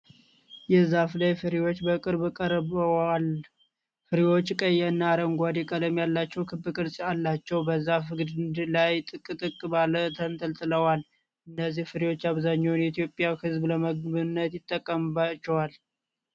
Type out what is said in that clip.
የዛፍ ላይ ፍሬዎች በቅርበት ቀርበዋል። ፍሬዎቹ ቀይ እና አረንጓዴ ቀለም ያላቸው ክብ ቅርጽ አላቸው፣ በዛፍ ግንድ ላይ ጥቅጥቅ ብለው ተንጠልጥለዋል። እነዚህን ፍሬዎች አብዛኛው የኢትዮጵያ ህዝብ ለምግብነት ይጠቀማቸዋልን?